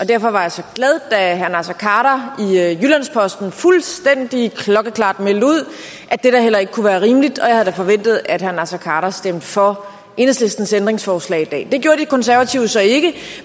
derfor var jeg så glad da herre naser khader i jyllands posten fuldstændig klokkeklart meldte ud at det da heller ikke kunne være rimeligt og jeg havde da forventet at herre naser khader stemte for enhedslistens ændringsforslag i dag det gjorde de konservative så ikke